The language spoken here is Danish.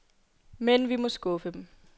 Men vi må skuffe dem.